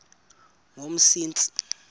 yomsintsi